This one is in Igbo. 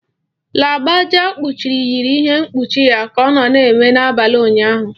Lagbaja kpuchiri yiri ihe mkpuchi ya ka ọ na-eme n'abalị ụnyaahụ.